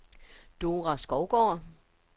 Dora Skovgaard